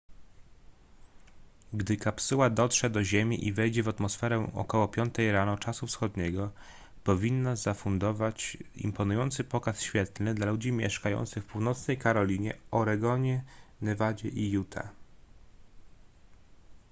gdy kapsuła dotrze do ziemi i wejdzie w atmosferę około 5 rano czasu wschodniego powinna zafundować imponujący pokaz świetlny dla ludzi mieszkających w północnej karolinie oregonie nevadzie i utah